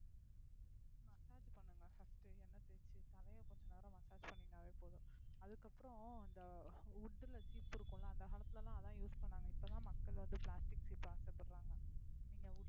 கொஞ்சம் நேரம் massage பண்ணினாவே போதும். அதுக்கு அப்றம் இந்த wood ல சீப்பு இருக்கும்ல அந்த காலத்துலலா அத use பண்ணாக இப்பதான் மக்கள் வந்து plastic சீப்பு ஆச படுறாங்க நீங்க wooden,